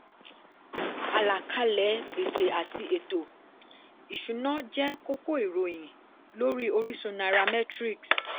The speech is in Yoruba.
àlàkàlẹ̀ gbèsè àti ètò-ìṣúnà jẹ́ kókó ìròyìn lórí orísun nairametrics